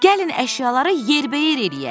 Gəlin əşyaları yerbəyer eləyək.